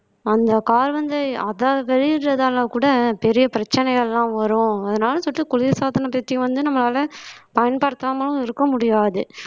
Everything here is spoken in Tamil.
அந்த carbon ஐ அத வெளியிடறதால கூட பெரிய பிரச்சனைகள் எல்லாம் வரும் அதனால சொல்லிட்டு குளிர்சாதன பத்தி வந்து நம்மளால பயன்படுத்தாமலும் இருக்க முடியாது